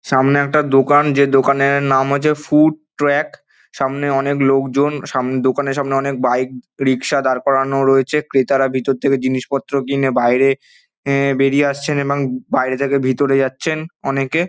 সামনে একটা দোকান যে দোকানের নাম হচ্ছে ফুড ট্রাক সামনে অনেক লোক জন সাম দোকানের সামনে অনেক বাইক রিকশা দাঁড় করানো রয়েছে ক্রেতারা ভিতর থেকে জিনিস পত্র কিনে বাইরে এএ বেরিয়ে আসছে এবং বাইরে থেকে ভেতরে যাচ্ছেন অনেকে।